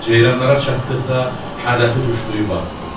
Ceyranlara çatdıqda hədəfi tuşlayıb atdı.